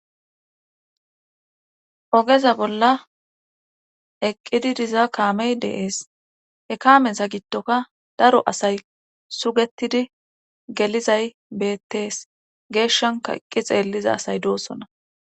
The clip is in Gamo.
Ogeza bolla eqqidi diza kaamey deees he kaameza gittoka daro asay sugetidi gelizay beettees geeshshanka eqqi xeelliza asay doossona.